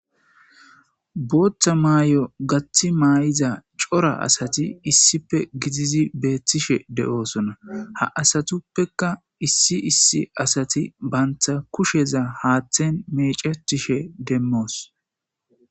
Boththa maayo gaaththi maydda coora assatti issippe gidizi beettishshe deosona ha aasattuppekka issi issi assaththi baantha kushsheza haaththen meccetishe demmos.